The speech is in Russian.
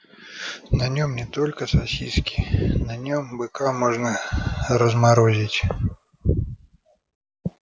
на нем не только сосиски на нем быка можно разморозить